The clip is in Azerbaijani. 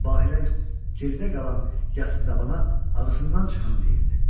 Bahirə gerdə qalan yası dabana ağzından çıxanı deyirdi.